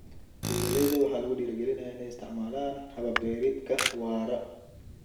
Beeralayda waxaa lagu dhiirigelinayaa in ay isticmaalaan habab beereedka waara.